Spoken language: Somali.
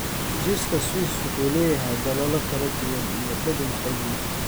Jiiska Swiss wuxuu leeyahay daloolo kala duwan iyo dhadhan xoog leh.